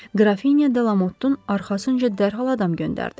Qrafinya de Lamottun arxasınca dərhal adam göndərdi.